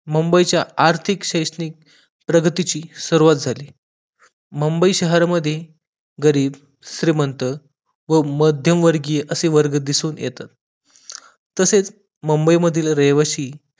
मुंबईचा आर्थिक शैक्षणिक प्रगतीची सुरवात झाली मुंबई शहर मध्ये, गरीब, श्रीमंत व मध्यमवर्गीय असे वर्ग दिसून येतात तसेच मुंबई मधील रहिवाशी